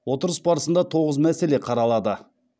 отырыс барысында тоғыз мәселе қаралады